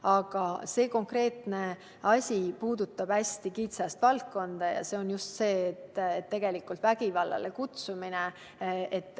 Aga see meie konkreetne muudatus puudutab hästi kitsast valdkonda, just vägivallale kutsumist.